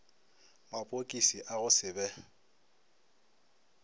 mapokisi a go se be